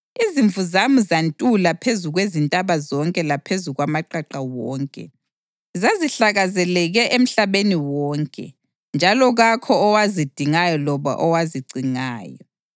Izimvu zami zantula phezu kwezintaba zonke laphezu kwamaqaqa wonke. Zazihlakazekele emhlabeni wonke, njalo kakho owazidingayo loba owazicingayo.